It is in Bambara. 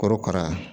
Korokara